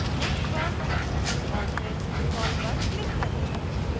next पर और फिर install पर क्लिक करें